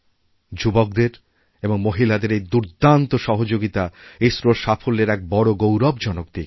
যুবকদের এবং মহিলাদেরএই দুর্দান্ত সহযোগিতা ইসরোর সাফল্যের এক বড় গৌরবজনক দিক